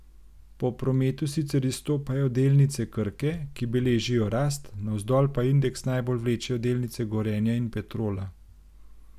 Po prometu sicer izstopajo delnice Krke, ki beležijo rast, navzdol pa indeks najbolj vlečejo delnice Gorenja in Petrola.